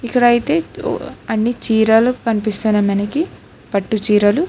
ఇక్కడ అయితే అన్ని చీరలు కనిపిస్తున్నాయి మనకి పట్టు చీరలు.